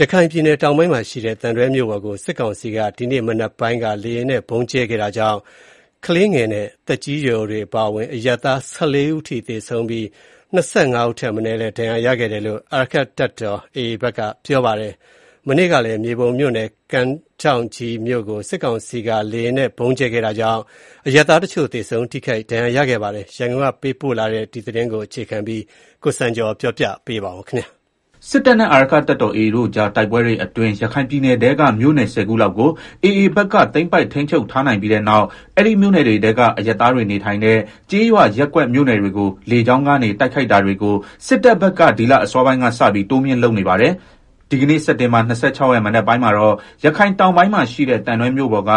ရခိုင်ပြည်နယ် တောင်ပိုင်းမှာရှိတဲ့ သံတွဲမြို့ပေါ်ကို စစ်ကောင်စီက ဒီကနေ့မနက်ပိုင်းက လေယာဉ်နဲ့ ဗုံးကြဲခဲ့တာကြောင့် ကလေးငယ်နဲ့ သက်ကြီးရွယ်အိုတွေ အပါအဝင် အရပ်သား ၁၄ ဦး သေဆုံးပြီး ၂၅ ဦးထက်မနည်း ဒဏ်ရာရရှိခဲ့တယ်လို့ အာရက္ခတပ်တော် AA ဘက်က ပြောပါတယ်။ မနေ့ကကလည်း မြေပုံမြို့ နယ် ကမ်းထောင့်ကြီးမြို့ကို စစ်ကောင်စီက လေယာဉ်နဲ့ ဗုံးကြဲခဲ့တာကြောင့် အရပ်သားတချို့ သေဆုံး ထိခိုက်ဒဏ်ရာရခဲ့ပါတယ်။ ရန်ကုန်ကလာတဲ့သတင်းကို အခြေခံပြီး တင်ပြထားပါတယ်။ စစ်တပ်နဲ့ အာရက္ခတပ်တော် AA တို့ကြားတိုက်ပွဲတွေအတွင်း ရခိုင်ပြည်နယ်ထဲက မြို့နယ် ၁ဝ ခုလောက်ကို AA ဘက်က သိမ်းပိုက် ထိန်းချုပ်ထားနိုင်ပြီးတဲ့နောက် အဲဒီမြို့နယ်တွေထဲက အရပ်သားတွေနေထိုင်တဲ့ ကျေးရွာ ရပ်ကွက်မြို့နယ်တွေကို လေကြောင်း တိုက်ခိုက်တာတွေကို စစ်တပ်ဘက်က ဒီလအစောပိုင်းကစပြီး တိုးမြှင့် လုပ်နေပါတယ်။ ဒီကနေ့ စက်တင်ဘာ ၂၆ ရက် မနက်ပိုင်းမှာတော့ ရခိုင်တောင်ပိုင်းမှာရှိတဲ့ သံတွဲမြို့ပေါ်က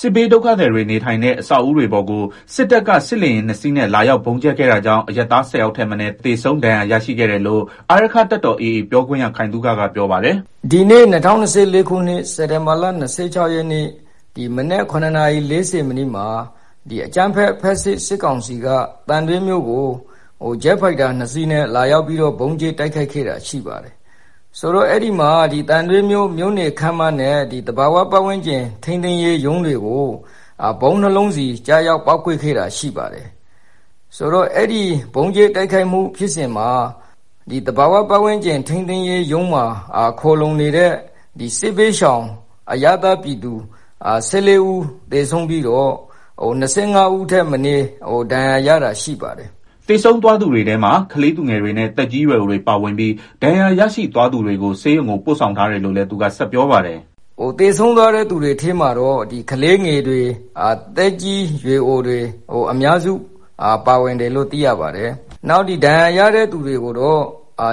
စစ်ဘေးဒုက္ခသည်တွေ နေထိုင်တဲ့ အဆောက်အဦတွေပေါ်ကို စစ်တပ်က စစ်လေယာဉ် ၂ စီးနဲ့ လာရောက်ဗုံးကြဲခဲ့တာကြောင့် အရပ်သား ၁၀ ယောက်ထက်မနည်း သေဆုံး၊ ဒဏ်ရာရရှိခဲ့တယ်လို့ အာရက္ခတပ်တော် AA ပြောခွင့်ရ ခိုင်သုခကပြောပါတယ်။ "အဲဒီမှာ သံတွဲမြို့ မြို့နယ်ခန်းမနဲ့ သဘာဝပတ်ဝန်းကျင် ထိန်းသိမ်းရေး ရုံးတွေကို ဗုံး ၂ လုံးစီ ကျရောက်ပေါက်ကွဲခဲ့တာရှိပါတယ်။ ဆိုတော့ အဲဒီ ဗုံးကြဲ တိုက်ခိုက်မှု ဖြစ်စဉ်မှာ သဘာဝပတ်ဝန်းကျင်ရုံးမှာ ခိုလုံနေတဲ့ စစ်ဘေးရှောင် အရပ်သား ပြည်သူ ၁၄ ဦး သေဆုံးပြီးတော့ ၂၅ဦးထက်မနည်း ဒဏ်ရာရတာ ရှိပါတယ်။” သေဆုံးသွားသူတွေထဲမှာ ကလေးသူငယ်တွေနဲ့ သက်ကြီးရွယ်အိုတွေ ပါဝင်ပြီး ဒဏ်ရာရရှိသွားသူတွေကို ဆေးရုံကိုပို့ဆောင်ထားတယ်လို့လည်း သူက ဆက်ပြောပါတယ်။ “သေဆုံးသွားတဲ့ သူတွေထဲမှာတော့ ကလေးငယ်တွေ သက်ကြီးရွယ်အိုတွေ၊ အများစု ပါဝင်တယ်လို့ သိရပါတယ်၊ နောက် ဒဏ်ရာရတဲ့ သူတွေကိုတော့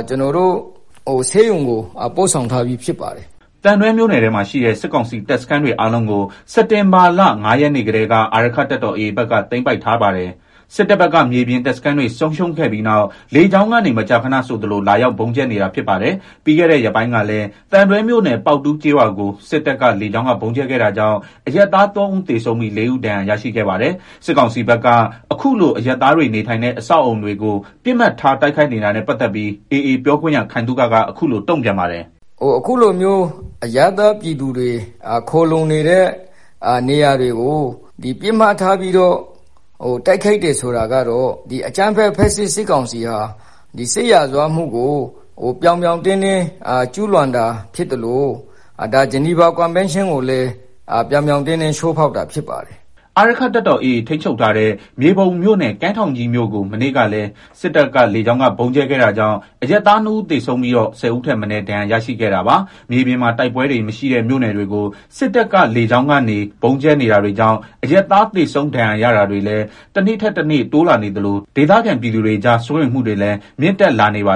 ကျနော်တို့ ဆေးရုံကို ပို့ဆောင်ထားပြီး ဖြစ်ပါတယ်။” သံတွဲမြို့နယ်ထဲမှာ ရှိတဲ့ စစ်ကောင်စီတပ်စခန်းတွေအားလုံးကို စက်တင်ဘာလ ၅ ရက်နေ့ကတည်းက အာရက္ခတပ်တော် AA ဘက်က သိမ်းပိုက်ထားပါတယ်။ စစ်တပ်ဘက်က မြေပြင်တပ်စခန်းတွေ ဆုံးရှုံးခဲ့ပြီးနောက် လေကြောင်းကနေ မကြာခဏဆိုသလို လာရောက် ဗုံးကြဲနေတာဖြစ်ပါတယ်။ ပြီးခဲ့တဲ့ ရက်ပိုင်းကလည်း သံတွဲမြို့နယ် ပေါက်တူးကျေးရွာကို စစ်တပ်က လေကြောင်းက ဗုံးကြဲခဲ့တာကြောင့် အရပ်သား ၃ ဦးသေဆုံးပြီး ၄ ဦးဒဏ်ရာရရှိခဲ့ပါတယ်။ စစ်ကောင်စီဘက်က အခုလို အရပ်သားတွေနေထိုင်တဲ့ အဆောက်အအုံတွေကို ပစ်မှတ်ထား တိုက်ခိုက်နေတာနဲ့ ပတ်သတ်ပြီး AA ပြောခွင့်ရ ခိုင်သုခက အခုလို တုံ့ပြန်ပါတယ်။ “ အခုလိုမျိုး အရပ်သားပြည်သူတွေ ခိုလုံနေတဲ့ နေရာတွေကို ပစ်မှတ်ထားပြီးတော့ တိုက် ခိုက်တယ် ဆိုတာကတော့ အကြမ်းဖက် ဖက်ဆစ် စစ်ကောင်စီဟာ စစ်ရာဇဝတ်မှုကို ပြောင် ပြောင်တင်းတင်းကျူးလွန်တာ ဖြစ်သလို ဂျနီဗာကွန်းဘန်းရှင်းကိုလည်း ပြောင်ပြောင် တင်း တင်း ချိုးဖောက်တာဖြစ်ပါတယ်။” အာရက္ခတပ်တော် AA ထိန်းချုပ်ထားတဲ့ မြေပုံမြို့နယ် ကန်းထောင့်ကြီး မြို့ကို မနေ့ကလည်း စစ်တပ်က လေကြောင်းက ဗုံးကြဲခဲ့တာကြောင့် အရပ်သား ၂ ဦး သေဆုံးပြီးတော့ ၁ဝ ဦးထက်မနည်း ဒဏ်ရာရရှိခဲ့တာပါ။ မြေပြင်မှာ တိုက်ပွဲတွေ မရှိတဲ့ မြို့နယ်တွေကို စစ်တပ်က လေကြောင်းကနေ ဗုံးကြဲနေတာတွေကြောင့် အရပ်သား သေဆုံး ဒဏ်ရာရတာတွေလည်း တနေ့ထက်တနေ့ တိုးလာနေသလို ဒေသခံ ပြည်သူတွေကြား စိုးရိမ်မှုတွေလည်း မြင့်တက်လာနေတာပါ